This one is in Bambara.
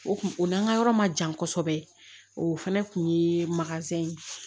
O kun o n'an ka yɔrɔ ma jan kosɛbɛ o fɛnɛ kun ye ye